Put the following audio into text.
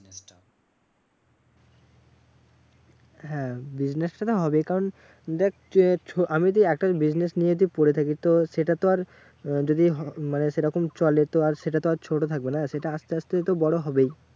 হ্যাঁ business হবেই কারণ দেখ যে আমি যদি একটা business নিয়ে যদি পরে থাকি তো সেটা তো আর যদি মানে সেরকম চলে তো আর সেটা তো আর ছোট থাকবে না। সেটা আসতে আসতে তো বড় হবেই।